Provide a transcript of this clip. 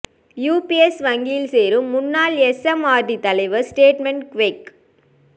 UBS வங்கியில் சேரும் முன்னாள் எஸ்எம்ஆர்டி தலைவர் டெஸ்மண்ட் குவெக்